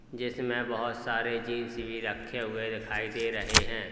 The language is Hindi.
जिसमें बहोत सारे जींस भी रखे हुए दिखाई दे रहे हैं।